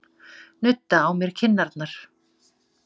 Nudda á mér kinnarnar.